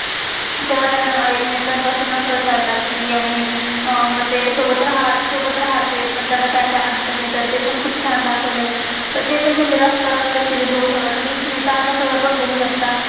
तेव्हा त्यांना एकमेकान पासून नफरत व्हायला लगती. आणि अह मग ते सोबत रहते पण त्यांना का्य का्य अडचणी येतात, ते पण खुप छान दाखवलय. तर ते पण तुम्ही रफ्ता रफ्ता सीरीज series बघू शकता. तसच तुम्ही तजा खबर बघू शकता.